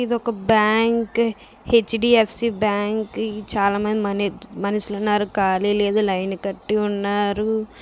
ఇది ఒక bank . HDFC bank . ఇది చాలామంది మనీ మనుషులు ఉన్నారు. ఖాళీ లేదు. లైన్ కట్టి ఉన్నారూ.